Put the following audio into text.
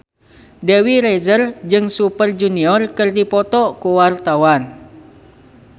Dewi Rezer jeung Super Junior keur dipoto ku wartawan